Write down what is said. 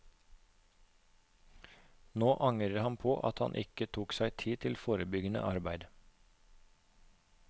Nå angrer han på at han ikke tok seg tid til forebyggende arbeid.